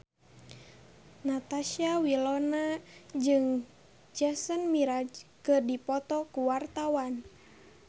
Natasha Wilona jeung Jason Mraz keur dipoto ku wartawan